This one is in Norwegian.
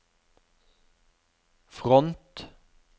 front